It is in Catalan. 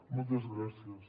moltes gràcies